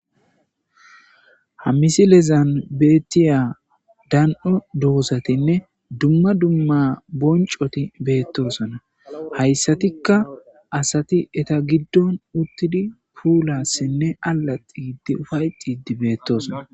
Hammisi lezan beettiya dan'o doosatinne dumma dumma boncoti beettosona hayssatikka asati eta giddon uttidi puulassinne alaxiidi ufay cidi beettoosona.